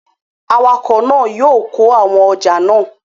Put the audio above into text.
Awakọ̀ náà yóò kó àwọn ọjà náà